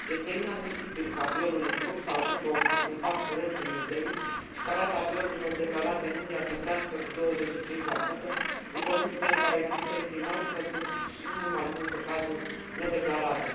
Este inadmisibil ca violul în grup să ajungă un fapt curent în New Delhi și ca rata violurilor declarate în India să crească cu 25, în condițiile în care există estimări că sunt și mult mai multe cazuri nedeclarate.